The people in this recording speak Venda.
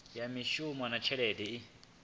ya mishumo na tshelede i